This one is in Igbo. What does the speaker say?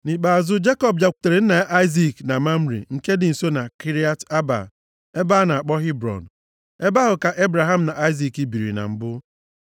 Nʼikpeazụ, Jekọb bịakwutere nna ya Aịzik na Mamre nke dị nso na Kiriat Arba (ebe a na-akpọ Hebrọn). Ebe ahụ ka Ebraham na Aịzik biri na mbụ.